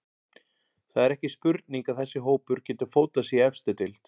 Það er ekki spurning að þessi hópur getur fótað sig í efstu deild.